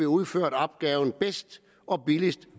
udført opgaven bedst og billigst